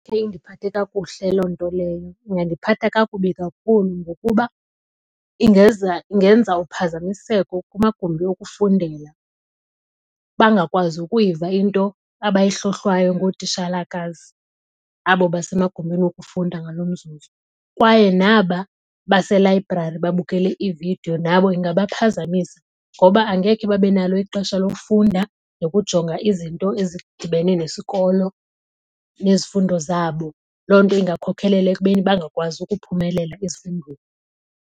Ngeke indiphathe kakuhle loo nto leyo. Ingandiphatha kakubi kakhulu ngokuba ingenza uphazamiseko kumagumbi okufundela. Bangakwazi ukuyiva into abayihlohlwayo ngootishalakazi abo basemagumbini wokufunda ngalo mzuzu. Kwaye naba baselayibrari babukele iividiyo nabo ingabaphazamisa ngoba angekhe babe nalo ixesha lokufunda nokujonga izinto ezidibene nesikolo nezifundo zabo. Loo nto ingakhokhela ekubeni bangakwazi ukuphumelela ezifundweni.